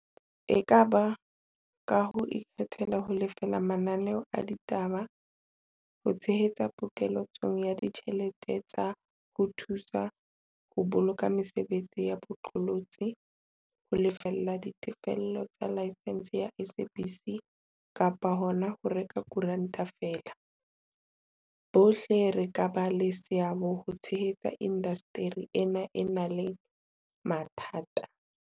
E ka ba ka ho ikgethela ho lefela mananeo a ditaba, ho tshehetsa pokele tsong ya ditjhelete tsa ho thu sa ho boloka mesebetsi ya bo qolotsi, ho lefella ditefello tsa laesense ya SABC kapa hona ho reka koranta feela, bohle re ka ba le seabo ho tshehetsa indasteri ena e nang le mathata.